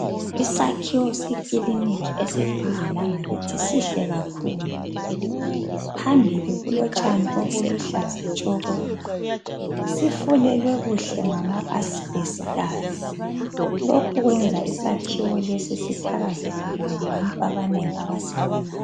Isakhiwo sekilinika eseduze lakithi sihle kakhulu. Phambili kulotshani obuluhlaza tshoko. Sifulelwe kuhle ngamaasibhestasi. Lokhu kwenza isakhiwo lesi sithakazelelwe ngabantu abanengi abasibonayo.